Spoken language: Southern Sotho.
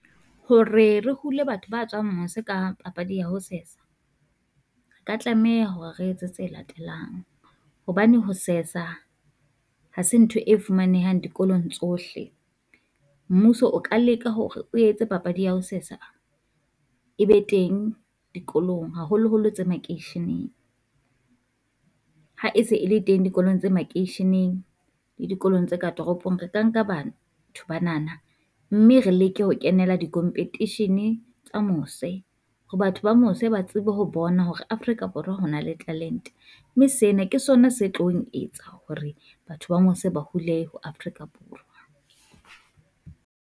Hore re hule batho ba tswang mose ka papadi ya ho sesa, ka tlameha hore re etse tse latelang. Hobane ho sesa ha se ntho e fumanehang dikolong tsohle, mmuso o ka leka hore o etse papadi ya ho sesa e be teng dikolong, haholoholo tse makeisheneng. ha e se e le teng dikolong tse makeisheneng le dikolong tse ka toropong, re ka nka bana banana mme re leke ho kenela di competition-e tsa mose. Ho batho ba mose ba tsebe ho bona hore Afrika Borwa ho na le talente, mme sena ke sona se tlong etsa hore batho ba mose ba hule ho Afrika Borwa.